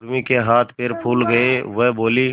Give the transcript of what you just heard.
उर्मी के हाथ पैर फूल गए वह बोली